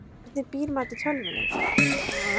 Erla: Hvernig býr maður til tölvuleik?